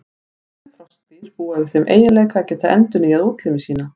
Sum froskdýr búa yfir þeim eiginleika að geta endurnýjað útlimi sína.